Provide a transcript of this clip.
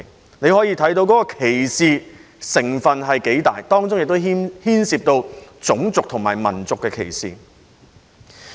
由此可見有關的歧視成分有多大，當中亦牽涉種族和民族歧視。